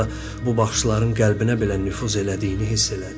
Hətta bu baxışların qəlbinə belə nüfuz elədiyini hiss elədi.